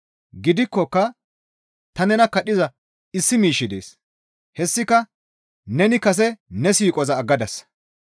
Gidikkoka ta nena kadhiza issi miishshi dees; hessika neni kase ne siiqoza aggadasa.